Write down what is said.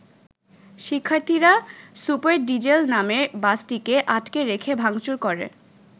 শিক্ষার্থীরা super diesel নামের বাসটিকে আটকে রেখে ভাঙচুর করে।